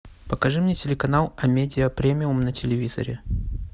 покажи мне телеканал амедия премиум на телевизоре